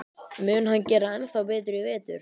Mun hann gera ennþá betur í vetur?